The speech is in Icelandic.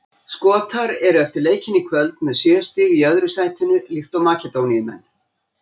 Skotar eru eftir leikinn í kvöld með sjö stig í öðru sætinu líkt og Makedóníumenn.